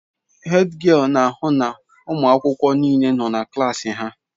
Hédgịél na-ahụ na ụmụ akwụkwọ niile nọ na klaasị ha.